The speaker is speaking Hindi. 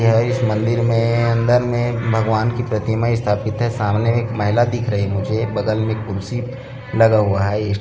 यह इस मंदिर में अंदर में भगवान की प्रतिमा स्थापित है सामने एक महिला दिख रही मुझे बगल में कुर्सी लगा हुवा हे--